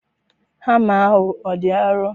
Hama ahụ ọ dị arọ?